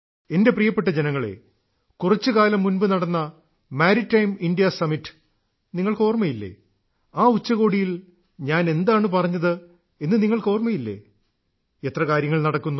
എന്റെ പ്രിയപ്പെട്ട ജനങ്ങളേ കുറച്ചുകാലം മുൻപു നടന്ന മാരിടൈം ഇന്ത്യ സമ്മിറ്റ് നിങ്ങൾക്ക് ഓർമ്മയില്ലേ ആ ഉച്ചകോടിയിൽ ഞാൻ എന്താണ് പറഞ്ഞത് എന്ന് നിങ്ങൾക്ക് ഓർമ്മയില്ലേ എത്ര കാര്യങ്ങൾ നടക്കുന്നു